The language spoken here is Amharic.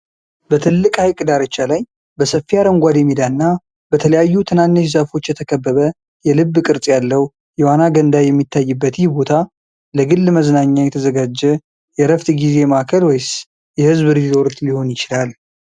በትልቅ ሐይቅ ዳርቻ ላይ፣ በሰፊ አረንጓዴ ሜዳ እና በተለያዩ ትናንሽ ዛፎች የተከበበ፣ የልብ ቅርፅ ያለው የዋና ገንዳ የሚታይበት ይህ ቦታ። ለግል መዝናኛ የተዘጋጀ የዕረፍት ጊዜ ማዕከል ወይስ የሕዝብ ሪዞርት ሊሆን ይችላል?